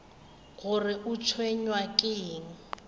gore o tshwenywa ke eng